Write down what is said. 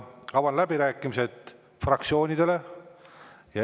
Avan läbirääkimised fraktsioonidele.